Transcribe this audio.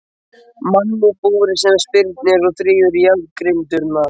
Mann í búri sem spyrnir og þrífur í járngrindurnar.